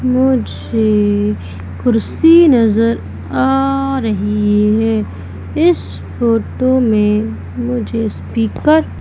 मुझे कुर्सी नजर आ रही है इस फोटो में मुझे स्पीकर --